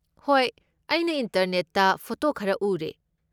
ꯍꯣꯏ, ꯑꯩꯅ ꯏꯟꯇꯔꯅꯦꯠꯇ ꯐꯣꯇꯣ ꯈꯔ ꯎꯔꯦ꯫